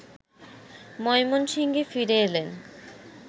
ময়মনসিংহে ফিরে এলেন